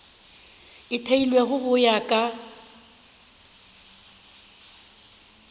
e theilwego go ya ka